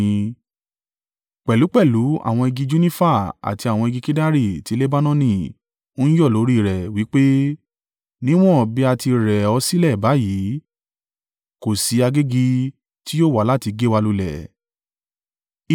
Pẹ̀lúpẹ̀lú àwọn igi junifa àti àwọn igi kedari ti Lebanoni ń yọ̀ lórí rẹ wí pé, “Níwọ́n bí a ti rẹ̀ ọ́ sílẹ̀ báyìí, kò sí agégi tí yóò wá láti gé wa lulẹ̀.”